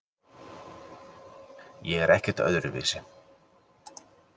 Ég er ekkert öðruvísi.